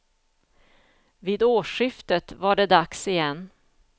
Vid årsskiftet var det dags igen.